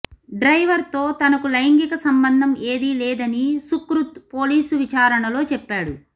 డ్రైవర్తో తనకు లైంగిక సంబంధం ఏదీ లేదని సుక్రుత్ పోలీసు విచారణలో చెప్పాడు